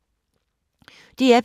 DR P2